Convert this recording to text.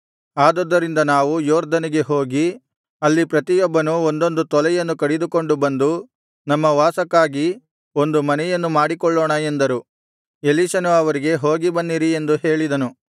ಆದುದರಿಂದ ನಾವು ಯೊರ್ದನಿಗೆ ಹೋಗಿ ಅಲ್ಲಿ ಪ್ರತಿಯೊಬ್ಬನೂ ಒಂದೊಂದು ತೊಲೆಯನ್ನು ಕಡಿದುಕೊಂಡು ಬಂದು ನಮ್ಮ ವಾಸಕ್ಕಾಗಿ ಒಂದು ಮನೆಯನ್ನು ಮಾಡಿಕೊಳ್ಳೋಣ ಎಂದರು ಎಲೀಷನು ಅವರಿಗೆ ಹೋಗಿಬನ್ನಿರಿ ಎಂದು ಹೇಳಿದನು